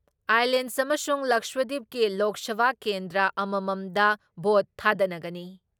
Islands ꯑꯃꯁꯨꯡ ꯂꯛꯁꯗꯤꯞꯀꯤ ꯂꯣꯛ ꯁꯚꯥ ꯀꯦꯟꯗ꯭ꯔ ꯑꯃꯃꯝꯗ ꯚꯣꯠ ꯊꯥꯗꯅꯒꯅꯤ ꯫